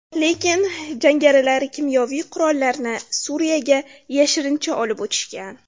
Lekin jangarilar kimyoviy qurollarni Suriyaga yashirincha olib o‘tishgan.